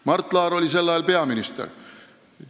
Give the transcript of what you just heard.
Mart Laar oli sel ajal peaminister.